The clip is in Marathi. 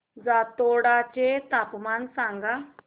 जातोडा चे तापमान सांग